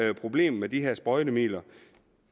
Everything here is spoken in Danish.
er problemer med de her sprøjtemidler